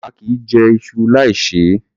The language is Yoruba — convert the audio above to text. A kìí jẹ iṣu láì ṣe é.